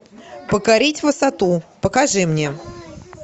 покорить высоту покажи мне